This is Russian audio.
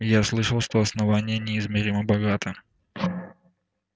я слышал что основание неизмеримо богато